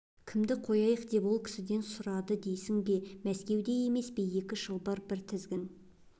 кімді қояйық деп ол кісіден сұрады дейсің бе мәскеуде емес пе екі шылбыр бір тізгін